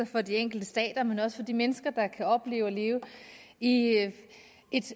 for de enkelte stater men også for de mennesker der kan opleve at leve i